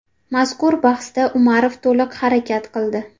Mazkur bahsda Umarov to‘liq harakat qildi.